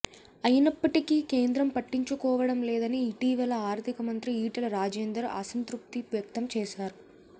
అయినప్పటికీ కేంద్రం పట్టించుకోవడం లేదని ఇటీవల ఆర్థిక మంత్రి ఈటల రాజేందర్ అసంతృప్తి వ్యక్తం చేసారు